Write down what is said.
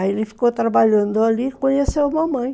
Aí ele ficou trabalhando ali e conheceu a mamãe.